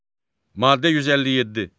Maddə 157.